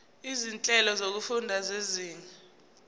izinhlelo zokufunda zezinga